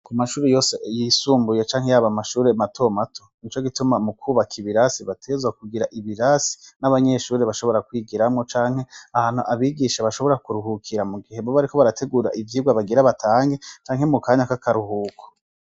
Ku mashuri yose yisumbuye canke yaba amashuri mato mato nico gituma mu kubaka ibirasi bategerezwa kugira ibirasi n'abanyeshuri bashobora kwigiramwo canke ahantu abigisha bashobora kuruhukira mu gihe boba bariko barategura ivyigwa bagira batange canke mu kanya k'akaruhuko.